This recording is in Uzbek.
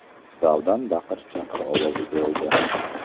Zaldan baqir-chaqir ovozi keldi.